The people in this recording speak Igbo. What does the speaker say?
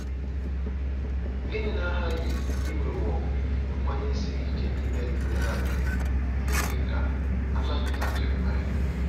Gịnị na-aghaghị inwewo nkwenye siri ike Ibed-melek mee ka a napụta Jeremaya?